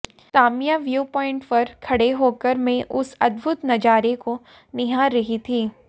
Tamia view point पर खड़े होकर मैं उस अद्भुत नजारे को निहार रही थी